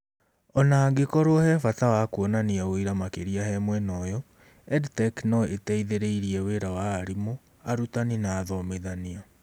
Ona angĩkorwo he bata wa kuonania ũira makĩria he mwena ũyũ, EdTech no ĩteithĩrĩrie wĩra wa arimũ, arutani, na athomithania.